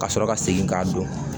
Ka sɔrɔ ka segin k'a don